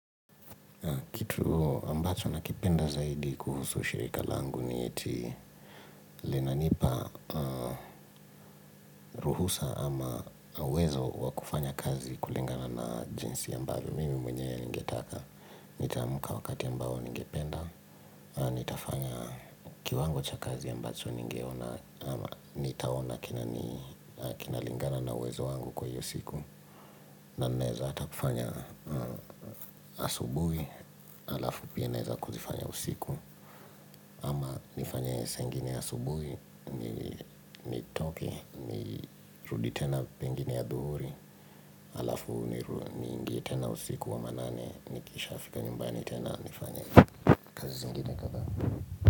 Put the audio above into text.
Kitu ambacho na kipenda zaidi kuhusu shirika langu ni eti linanipa ruhusa ama wezo wa kufanya kazi kulingana na jinsi ambayo mimi mwenyewe ningetaka. Nitaamka kwa wakati ambao ningependa, nitafanya kiwango cha kazi ambacho ningeona ama nitaona kina lingana na wezo wangu kwa hiyo siku. Na naweza hata kufanya asubuhi Halafu pia naweza kuzifanya usiku nifanye saa ingini asubuhi nitoke ni rudi tena pengine adhuhuri Halafu niingie tena usiku wa manane Nikisha fika nyumbani tena nifanye kazi zingine kadhaa.